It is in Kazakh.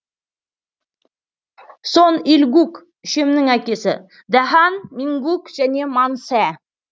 сон иль гук үшемнің әкесі дэ хан мин гук және ман сэ